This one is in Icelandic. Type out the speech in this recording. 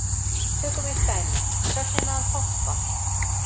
Tökum eitt dæmi, sögnina að hoppa.